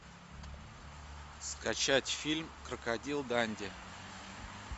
скачать фильм крокодил данди